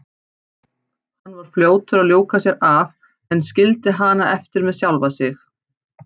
Hann var fljótur að ljúka sér af en skildi hana eftir með sjálfa sig.